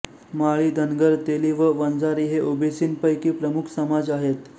माळी धनगर तेली व वंजारी हे ओबीसींपैकी प्रमुख समाज आहेत